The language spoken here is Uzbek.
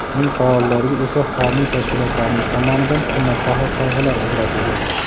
Eng faollarga esa homiy tashkilotlarimiz tomonidan qimmatbaho sovg‘alar ajratilgan.